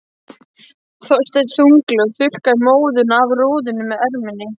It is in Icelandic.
Þorsteinn þunglega og þurrkaði móðuna af rúðunni með erminni.